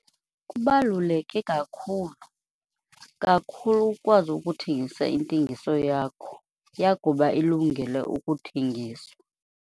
Kubaluleke kakhulu, kakhulu ukwazi ukuthengisa intengiso yakho yakuba ilungele ukuthengiswa.